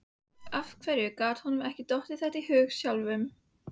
Af hverju gat honum ekki dottið þetta í hug sjálfum!